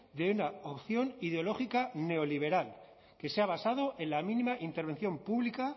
de una opción ideológica neoliberal que se ha basado en la mínima intervención pública